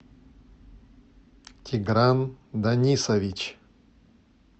тигран данисович